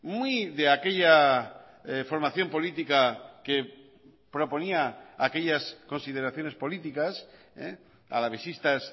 muy de aquella formación política que proponía aquellas consideraciones políticas alavesistas